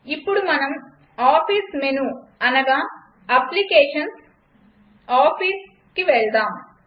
ఇప్పుడు మనం office menu అనగా applications gtOfficeకి వెళ్దాం